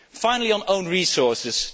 Finally, on own resources.